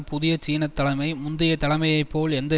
புதிய சீன தலைமை முந்தைய தலைமையைப் போல் எந்த